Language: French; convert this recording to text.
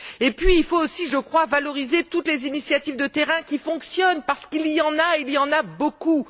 Puis, il faut aussi valoriser toutes les initiatives de terrain qui fonctionnent, parce qu'il y en a et il y en a beaucoup.